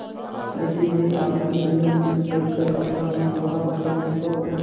यदि मैं आपसे ऋण ले कर अपना विवाह करुँ तो